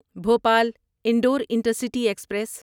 Bhopal Indore intercity express